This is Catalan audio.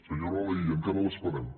senyora laïlla encara l’esperem